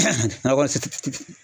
nakɔ